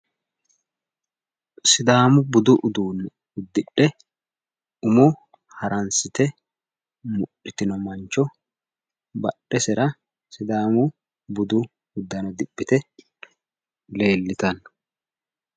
Sidaamu budu uduunne uddidhe umo haransite mudhitino mancho nadhesera sidaamu budu uduunne diphite leellitanno